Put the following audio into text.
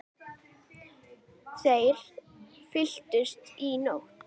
Þeir fylltust í nótt.